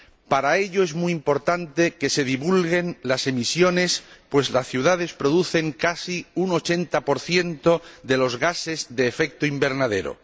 Para ello, es muy importante que se divulguen las emisiones, pues las ciudades producen casi un 80 de los gases de efecto invernadero.